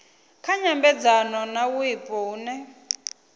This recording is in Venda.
kha nyambedzano na wipo hune